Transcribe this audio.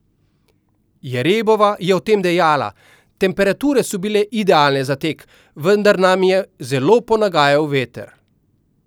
Jerebova je o tem dejala: "Temperature so bile idealne za tek, vendar na je zelo ponagajal veter.